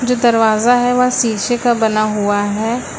जो दरवाजा है वह शीशे का बना हुआ है।